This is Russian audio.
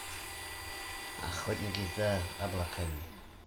охотники за облаками